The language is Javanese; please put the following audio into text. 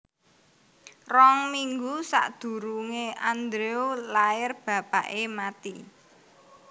Rong minggu sakdurunge Andrew lair bapake mati